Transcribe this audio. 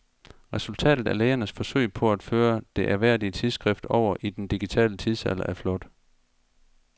Resultatet af lægernes forsøg på at føre det ærværdige tidsskrift over i den digitale tidsalder er flot.